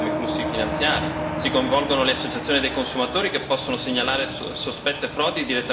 Si coinvolgono le associazioni dei consumatori che possono segnalare sospette frodi direttamente agli Stati e alla Commissione.